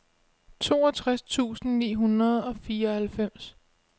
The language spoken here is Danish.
toogtres tusind ni hundrede og fireoghalvfems